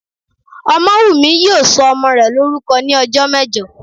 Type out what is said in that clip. Ọmọ́wùnmí yóò sọ ọmọ rẹ̀ lórúkọ ní ọjọ́ mẹ́jọ